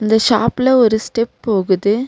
இந்த ஷாப்ல ஒரு ஸ்டெப் போகுது.